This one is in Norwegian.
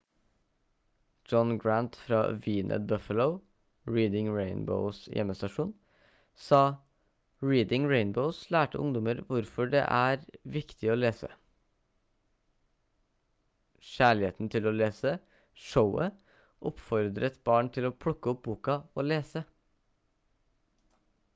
john grant fra wned buffalo reading rainbows hjemmestasjon sa «reading rainbow lærte ungdommer hvorfor det er viktig å lese ... kjærligheten til å lese – [showet] oppfordret barn til å plukke opp boka og å lese»